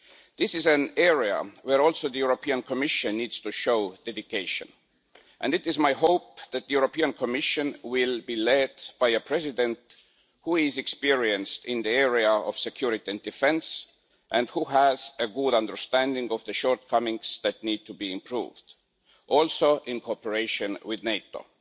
This is an area where also the Commission needs to show dedication and it is my hope that the Commission will be led by a President who is experienced in the area of security and defence and who has a good understanding of the shortcomings that need to be improved, also in cooperation with NATO.